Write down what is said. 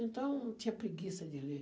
Então eu tinha preguiça de ler.